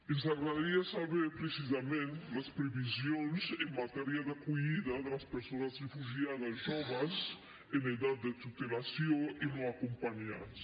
ens agradaria saber precisament les previsions en matèria d’acollida de les persones refugiades joves en edat de tutela i no acompanyades